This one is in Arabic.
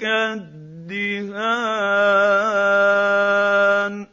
كَالدِّهَانِ